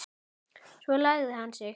Svo lagði hann sig.